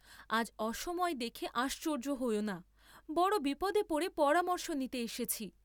আজ অসময়ে দেখে আশ্চর্য্য হয়ো না, বড় বিপদে পড়ে পরামর্শ নিতে এসেছি।